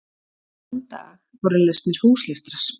Þann dag voru lesnir húslestrar.